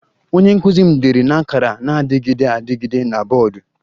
Onye nkụzi m dere na akara na-adịgide adịgide na bọọdụ